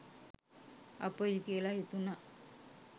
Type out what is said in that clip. අපොයි කියලා හිතුනා.